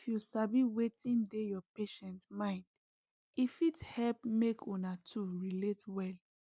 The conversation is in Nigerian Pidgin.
if you sabi wetin dey your patient mind e fit help make una two relate well